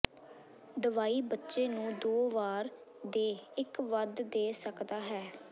ਦਵਾਈ ਬੱਚੇ ਨੂੰ ਦੋ ਵਾਰ ਦੇ ਇੱਕ ਵੱਧ ਦੇ ਸਕਦਾ ਹੈ